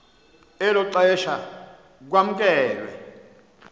elo xesha kwamkelwe